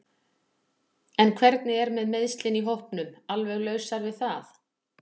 En hvernig er með meiðslin í hópnum alveg lausar við það?